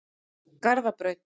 Garðabraut